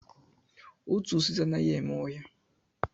Otu osisi anaghị eme ọhịa